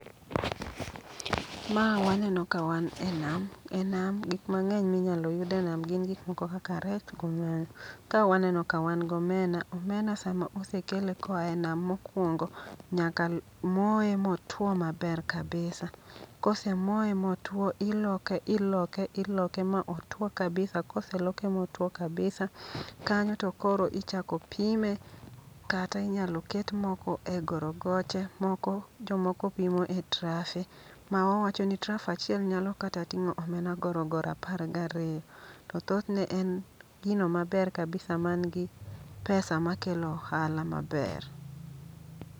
Ma waneno ka wan e nam, e nam gik mang'eny minyalo yud e nam gin gik moko kaka rech gomena. Ka waneno ka wan gomena, omena sama osekele koa e nam mokwongo nyaka moye motwo maber kabisa. Kose moye motwo, iloke, iloke, iloke ma otwo kabisa. Kose loke motwo kabisa, kanyo to koro ichako pime kata inyalo ket moko e gorogoche. Moko jomoko pimo e trafe, ma wawacho ni traf achiel nyalo kata ting'o omena gorogoro apar gariyo. To thothne en gino maber kabisa man gi pesa ma kelo ohala maber.